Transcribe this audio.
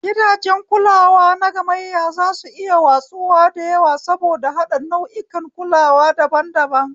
Gidajen kulawa nagamayya zasu iya watsuwa da yawa saboda haɗa nau'ikan kulawa daban-daban.